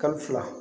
Kalo fila